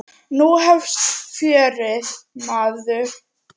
Nú hefst fjörið, maður.